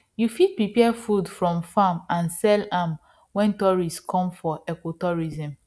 you fit prepare food from farm and sell am when tourists come for ecotourism